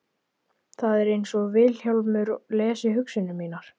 Það er einsog Vilhjálmur lesi hugsanir mínar.